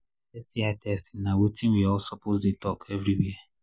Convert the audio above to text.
sti testing na watin we all suppose they talk everywhere